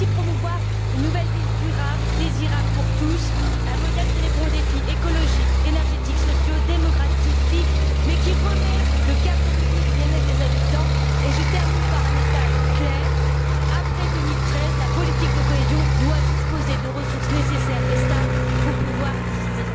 C'est aussi promouvoir une nouvelle ville durable, désirable pour tous, un modèle qui répond aux défis écologiques, énergétiques, sociodémographiques, mais qui remet le cadre de vie et le bien être des habitants au centre des préoccupations. Je termine par un message clair après 2013, la politique de cohésion doit disposer de ressources nécessaires et stables pour pouvoir exister.